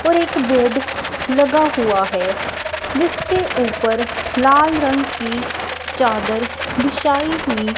और एक बेड लगा हुआ है जिसके ऊपर लाल रंग की चादर बिछाई हुई--